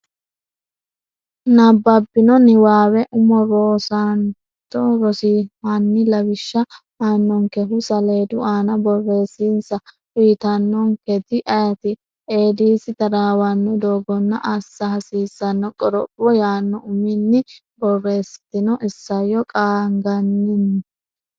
nabbabbino niwaawe umo rosaanote Rss: Hanni lawishsha aannonkehu saleedu aana borreessinsa uytannonketi ayeeti? Eedisi taraawanno doogonna assa hasiissanno qoropho yanno uminni borreessitini isayyo qaagginanni?